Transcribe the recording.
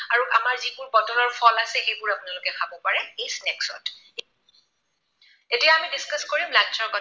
আৰু আমাৰ যিবোৰ বতৰৰ ফল আছে সেইবোৰ আপোনালোকে খাব পাৰে এই snacks ত। এতিয়া আমি discuss কৰিম lunch ৰ কথা।